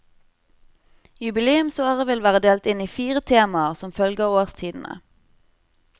Jubileumsåret vil være delt inn i fire temaer, som følger årstidene.